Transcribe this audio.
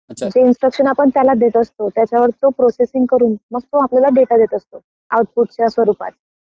जे इंस्ट्रक्शन आपण त्याला देत असतो त्याच्यावर तो प्रोसेसिंग करून मग तो आपल्याला डेटा देत असतो. आउटपुटच्या स्वरूपात